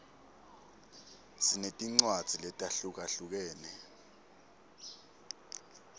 sinetincwadzi letahlukahlukene